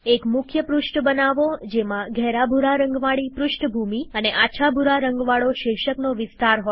એક મુખ્ય પૃષ્ઠ બનાવો જેમાં ઘેરા ભૂરા રંગવાળી પૃષ્ઠભૂમિ અને આછા ભૂરા રંગવાળો શીર્ષકનો વિસ્તાર હોય